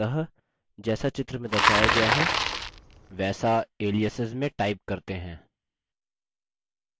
अतः जैसा चित्र में दर्शाया गया है वैसा aliases में type करते हैं